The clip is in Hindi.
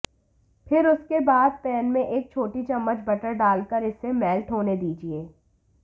फिर इसके बाद पैन में एक छोटी चम्मच बटर डाल कर इसे मेल्ट होने दीजिए